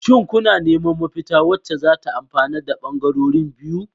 Shin kuna neman mafita wacce zata amfanar da bangarorin biyu?